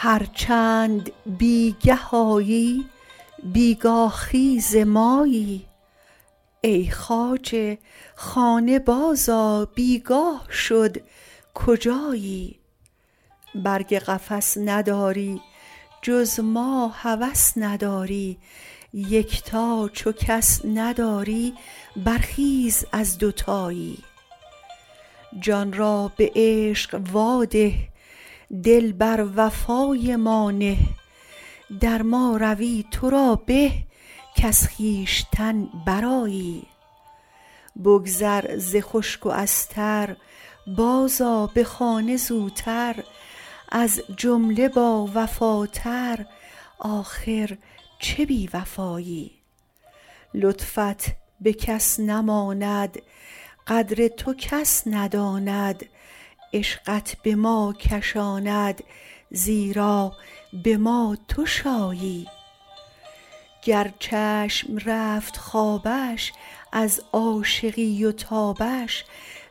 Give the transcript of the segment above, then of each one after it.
هر چند بی گه آیی بی گاه خیز مایی ای خواجه خانه بازآ بی گاه شد کجایی برگ قفس نداری جز ما هوس نداری یکتا چو کس نداری برخیز از دوتایی جان را به عشق واده دل بر وفای ما نه در ما روی تو را به کز خویشتن برآیی بگذر ز خشک و از تر بازآ به خانه زوتر از جمله باوفاتر آخر چه بی وفایی لطفت به کس نماند قدر تو کس نداند عشقت به ما کشاند زیرا به ما تو شایی گر چشم رفت خوابش از عاشقی و تابش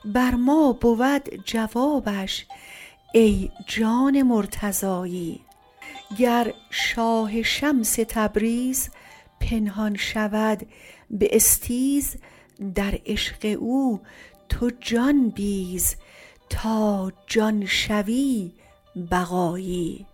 بر ما بود جوابش ای جان مرتضایی گر شاه شمس تبریز پنهان شود به استیز در عشق او تو جان بیز تا جان شوی بقایی